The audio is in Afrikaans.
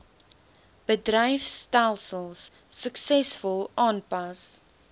bedryfstelsels suksesvol aanpas